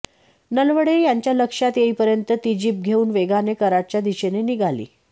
नलवडे यांच्या लक्षात येईपर्यंत ती जीप घेऊन वेगाने कराडच्या दिशेने निघाली